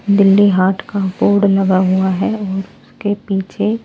Delhi heart का board लगा हुआ है और उसके पीछे--